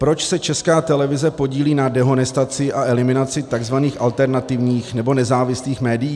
Proč se Česká televize podílí na dehonestaci a eliminaci tzv. alternativních nebo nezávislých médií?